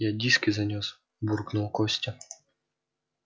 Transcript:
я диски занёс буркнул костя